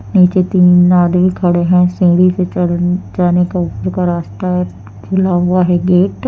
नीचे तीन आदमी खड़े हैं सीढ़ी की तरफ जाने का ऊपर का रास्ता है खुला हुआ है गेट --